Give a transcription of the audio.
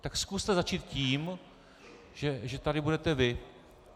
Tak zkuste začít tím, že tady budete vy.